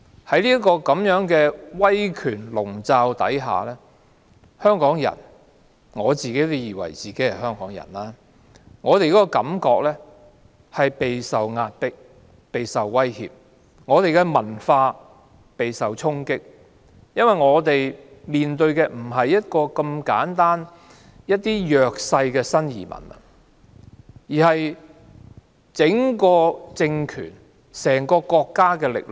在這樣的威權籠罩之下，香港人——我自以為是香港人——感到備受壓迫及威脅；本港的文化備受衝擊，因為我們面對的不是簡單的弱勢新移民，而是整個政權、整個國家的力量。